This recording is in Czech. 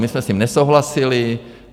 My jsme s tím nesouhlasili.